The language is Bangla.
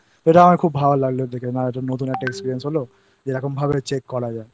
এটা আমার খুব ভালো লাগল দেখে আর নতুন একটা Experience হল যে এরকমভাবে Check করা যায়I